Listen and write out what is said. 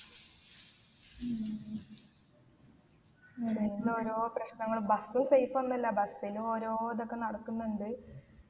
ഉം ഇങ്ങനുള്ള ഓരോ പ്രശ്നങ്ങള് bus ഉ safe ഒന്നുമല്ല bus ലു ഓരോ ഇതൊക്കെ നടക്കുന്നുണ്ട്